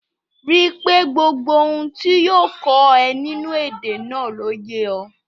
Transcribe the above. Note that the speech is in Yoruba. Rí i pé gbogbo ohun tí yóò kọ́ ọ nínú èdè náà ló yé ọ